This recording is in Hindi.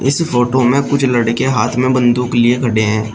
इस फोटो में कुछ लड़के हाथ में बंदूक लिए खड़े हैं।